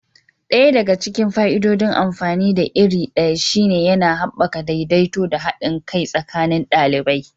Ɗaya daga cikin fa'idodin amfani da iri ɗaya shine yana haɓaka daidaito da haɗin kai tsakanin ɗalibai.